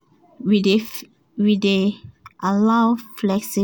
we dey allow flexible time for food make e fit wetin everyone like and dia time